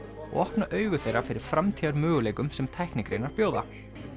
og opna augu þeirra fyrir framtíðarmöguleikum sem tæknigreinar bjóða